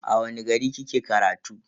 A wani gari kike karatu?